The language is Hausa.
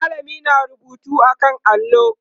mallamin na rubutu a kan allo